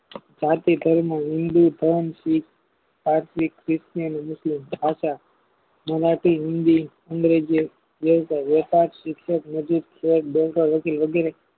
ભરતીય ઘર માં જેનાથી અમરેજિયન રહેતા વ્યાપાર સીડટ